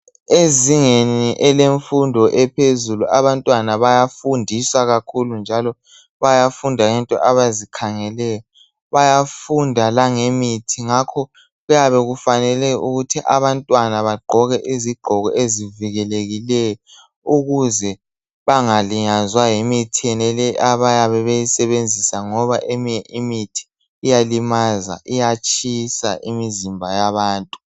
Ezingeni elemfundo ephezulu abantwana bayafundiswa kakhulu njalo bayafunda into abazikhangeleyo. Bayafunda langemithi, ngakho kuyabe kufanele ukuthi abantwana bagqoke izigqoko ezivikelekileyo ukuze bangalinyazwa yimithi yonaleyo abayabe beyisebenzisa ngoba eminye imithi iyalimaza, iyatshisa imizimba yabantu.